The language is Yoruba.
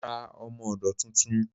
Mo ra ọmọ-odó tuntun